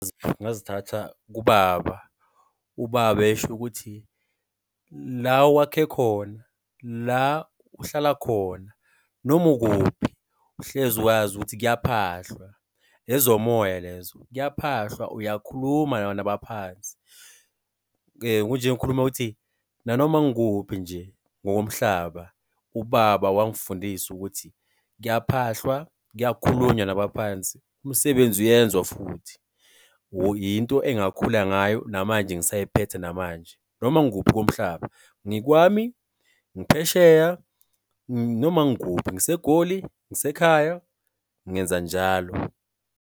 Ngazithatha kubaba. Ubaba esho ukuthi, la owakhe khona, la uhlala khona, noma ukuphi, uhlezi uwazi ukuthi kuyaphahlwa, ezomoya lezo. Kuyaphahlwa, uyakhuluma nabaphansi. Kunje ngikhuluma ukuthi nanoma ngikuphi nje ngokomhlaba, ubaba wangifundisa ukuthi kuyaphahlwa, kuyakhulunywa nabaphansi, umsebenzi uyenziwa futhi into engakhula ngayo, namanje ngisayiphethe namanje. Noma ngikuphi komhlaba, ngikwami, ngiphesheya, noma ngikuphi, ngiseGoli, ngisekhaya, ngenza njalo.